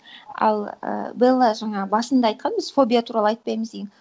ал ііі белла жаңа басында айтқанбыз фобия туралы айтпаймыз деген